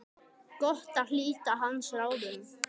Gott að hlíta hans ráðum.